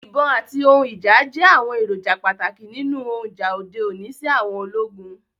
Ibon ati ohun ija jẹ awọn eroja pataki ninu ohun ija ode oni si àwọn ologun